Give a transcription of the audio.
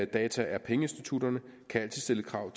data er pengeinstitutterne kan altid stille krav